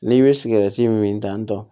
N'i bɛ sigɛrɛti min dant